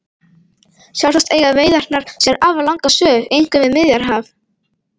Sjálfsagt eiga veiðarnar sér afar langa sögu einkum við Miðjarðarhaf.